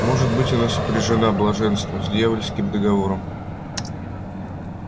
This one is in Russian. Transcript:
может быть она сопряжена блаженства с дьявольским договором